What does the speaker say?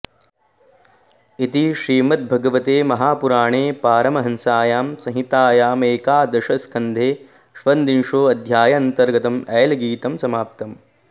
इति श्रीमद्भागवते महापुराणे पारमहंस्यां संहितायामेकादशस्कन्धे षद्विंशोऽध्यायान्तर्गतं ऐलगीतं समाप्तम्